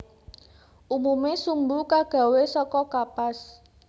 Umume sumbu kagawe saka kapas